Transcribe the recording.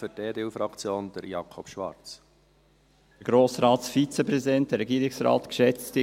Für die EDU-Fraktion, Grossrat Schwarz.